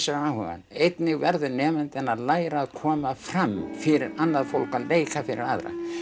hann áhugann einnig verður nemandinn að læra að koma fram fyrir annað fólk leika fyrir aðra